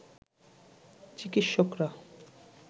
চিকিৎসকরা